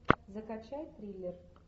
закачай триллер